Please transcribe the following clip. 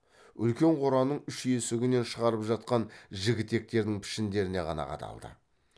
үлкен қораның үш есігінен шығарып жатқан жігітектердің пішіндеріне ғана қадалды